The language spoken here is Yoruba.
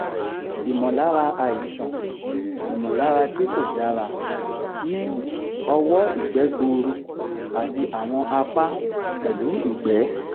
ìmọ̀lára àìsàn ìmọ̀lára tí kò dára ní ọwọ́ ìgbẹ́ gbuuru àti àwọn apá pẹ̀lú ìgbẹ́